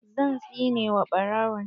Zan tsine wa ɓarawon!